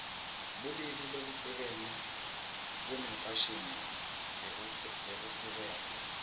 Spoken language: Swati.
bulili labuhlukene bunemfashini lehlukene